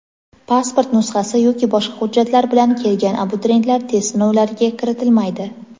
Pasport nusxasi yoki boshqa hujjatlar bilan kelgan abituriyentlar test sinovlariga kiritilmaydi.